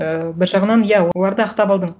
і бір жағынан иә оларды ақтап алдың